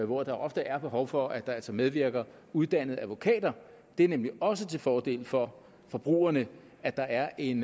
hvor der ofte er behov for at der altså medvirker uddannede advokater det er nemlig også til fordel for forbrugerne at der er en